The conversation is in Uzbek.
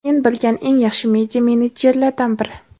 Men bilgan eng yaxshi media menedjerlardan biri.